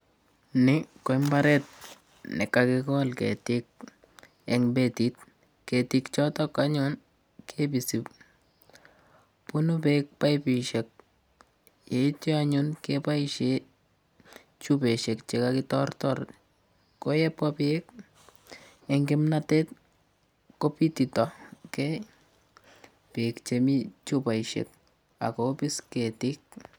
Ni ko mbaret nekakekol ketik eng Ketik chotok anyun kebisi. Bunu beek paipishek yeityo anyun keboishe chupoishek chekakitortor, ko yebwa beek eng kimnatet kobititokei beek chemi chupoishek ak kobiis ketik.